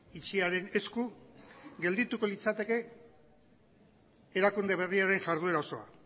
itxiaren esku geldituko litzateke erakunde berriaren jarduera osoa